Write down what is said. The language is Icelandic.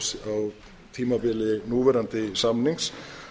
það á tímabili núverandi samnings